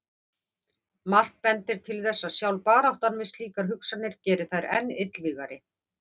Margt bendir til þess að sjálf baráttan við slíkar hugsanir geri þær enn illvígari.